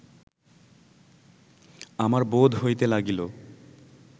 আমার বোধ হইতে লাগিল